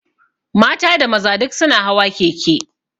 Mata da maza duk su na hawa keke